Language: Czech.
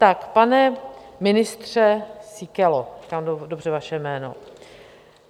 Tak pane ministře Síkelo - říkám dobře vaše jméno?